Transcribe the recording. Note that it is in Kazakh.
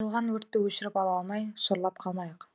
қойылған өртті өшіріп ала алмай сорлап қалмайық